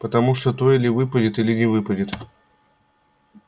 потому что то или выпадет или не выпадет